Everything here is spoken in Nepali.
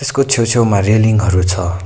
यसको छेउ छेउमा रेलिङ हरू छ।